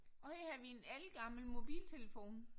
Og her har vi en ældgammel mobiltelefon